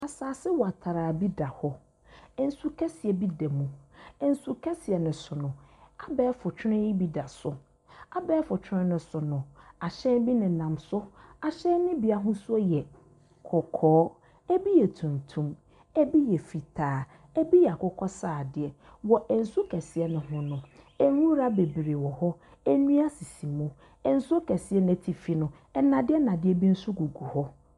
Asase watraa bi da hɔ. Nsu kɛseɛ bi da mu. Nsu kɛseɛ no so no, abɛɛfo twere bi da so. Abɛɛfo twere no so no, ahyɛn bi nenam so. Ahyɛn no bi ahosuo yɛ kɔkɔɔ, ebi yɛ tumtum, ebi yɛ fitaa, ebi yɛ akokɔsradeɛ, wɔ nsu kɛseɛ no so no, nwura bebree wɔhɔ, nnua sisi mu, nsuo kɛseɛ n'atifi no nnadeɛ nnadeɛ bi so gugu hɔ.